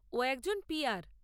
ও একজন পি আর।